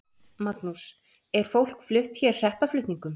Magnús: Er fólk flutt hér hreppaflutningum?